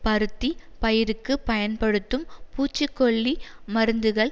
பருத்தி பயிருக்கு பயன்படுத்தும் பூச்சி கொல்லி மருந்துகள்